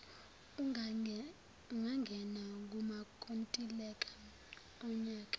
ungangena kumakontileka onyaka